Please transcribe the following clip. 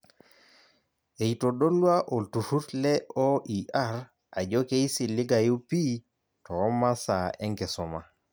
Eitodolua olturrur le OER ajo keisiligayu pii toomasaa enkisuma.